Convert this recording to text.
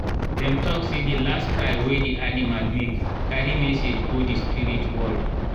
dem talk say the last cry wey the animal make carry message go the spirit world.